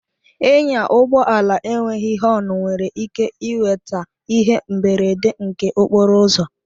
Ịnya ụgbọ ala enweghị họn nwere ike iweta ihe mberede nke okporo ụzọ